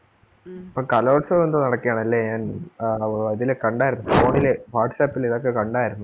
ഇപ്പം കലോത്സവം എന്തോ നടക്കയാണല്ലേ ഞാൻ ആഹ് ഇതില് കണ്ടാരുന്നു phone ല് whatsapp ല് ഇതൊക്കെ കണ്ടാരുന്നു.